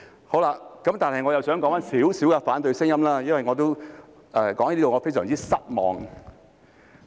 可是，我又想談談一些反對聲音，因為我感到非常失望。